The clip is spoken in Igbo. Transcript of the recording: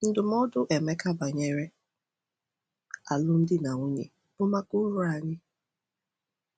Ndụmọdụ Emeka banyere alụmdi na nwunye bụ maka uru anyị.